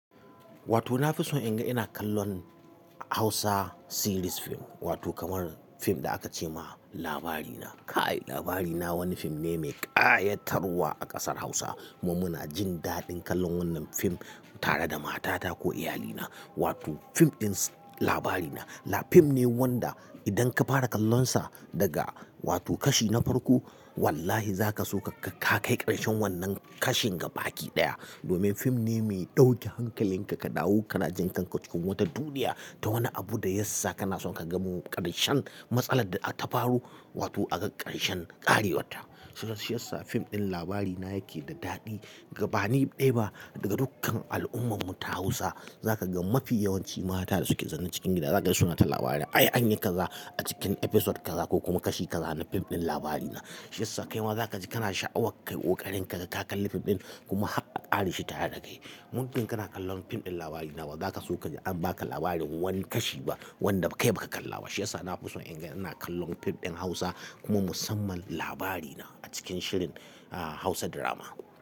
Wato na fi son in ga ina kallon Hausa series fim wato kamar fim da aka ce ma Labarina. Kai Labarina wani fim ne mai ƙayatarwa a ƙasar Hausa. Mu muna jin daɗin kallon wannan fim tare da matata ko iyalina. Wato fim ɗin Labarina. La fim ne wanda idan ka fara kallonsa daga wato kashi na farko wallahi za ka so ka kai ƙarshen wannan kashin ga baki ɗaya. Domin fim ne mai ɗauke hankalinka ka dawo kana jinkanka cikin wata duniya ta wani abu da yassa kana so ka ga ƙarshen matsalar da ta faro wato a ga ƙarshen ƙarewatta. Shi yassa fim ɗin Labarina yake da daɗi ga bani ɗaya ba ga dukkan al'ummam mu ta Hausa. Za ka ga mafi yawanci mata da suke zamne cikin gida za ka ga suna ta Labarin. Ai an yi kaza a cikin episode kaza ko kuma kashi kaza na fim ɗin Labarina. Shi yassa kai ma za ka ji kana sha'awar ka yi ƙoƙarin kaga kalli fim ɗin kuma har aƙareshile tare da kai. Muddin kana kallon fim ɗin Labarina ba za ka so ka ji an ba ka labarin wani kashi ba wanda kai ba ka kalla ba. Shi yassa na fi son inga ina kallon fim ɗin Hausa kuma musamman Labarina a cikin shirin Hausa drama.